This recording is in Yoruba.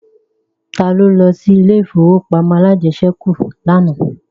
Ta ló lọ sí ilé ìfowópamọ́ alájẹsẹ́kù lánàá